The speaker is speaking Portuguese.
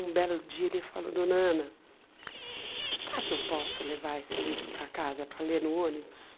Um belo dia ele falou, Dona Ana, será que eu posso levar esse livro para casa para ler no ônibus?